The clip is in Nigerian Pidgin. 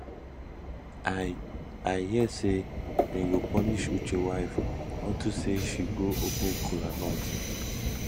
i i hear say dey go punish uche wife unto say she go open kola nut